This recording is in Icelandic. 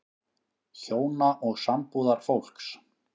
HJÓNA OG SAMBÚÐARFÓLKS